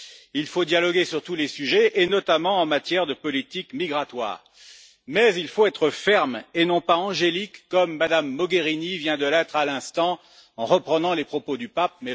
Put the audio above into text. Il faut dialoguer sur tous les sujets, et notamment en matière de politique migratoire, mais il faut être ferme et non pas angélique, comme Mme Mogherini vient de l'être à l'instant en reprenant les propos du pape.